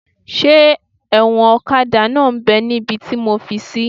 Ṣé ẹ̀wọ̀n ọ̀kadà náà m bẹ́ níbi tí mo fi sí?